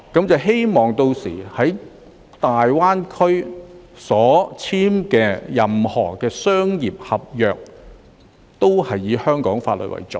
屆時在大灣區內簽署的任何商業合約，均以香港法律為準。